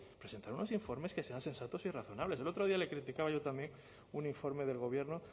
pues oye presentar unos informes que sean sensatos y razonables el otro día le criticaba yo también un informe del gobierno